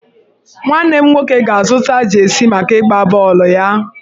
Nwanne m nwoke ga-azụta jeesi maka ịgba bọọlụ ya.